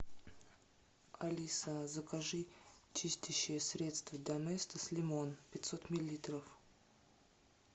алиса закажи чистящее средство доместос лимон пятьсот миллилитров